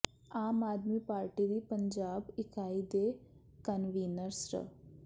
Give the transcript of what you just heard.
ਆਮ Aadmi party ਦੀ ਪੰਜਾਬ ਇਕਾਈ ਦੇ ਕਨਵੀਨਰ ਸ੍ਰ